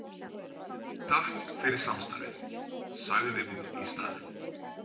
Takk fyrir samstarfið, sagði hún í staðinn.